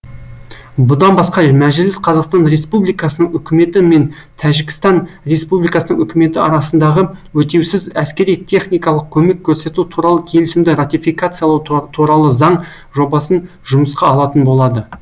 бұдан басқа мәжіліс қазақстан республикасының үкіметі мен тәжікстан республикасының үкіметі арасындағы өтеусіз әскери техникалық көмек көрсету туралы келісімді ратификациялау туралы заң жобасын жұмысқа алатын болады